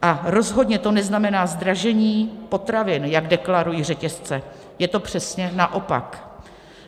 Ale rozhodně to neznamená zdražení potravin, jak deklarují řetězce, je to přesně naopak.